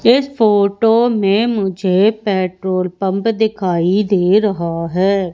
इस फोटो में मुझे पेट्रोल पंप दिखाई दे रहा है।